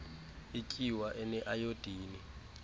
ityuwa ene ayodini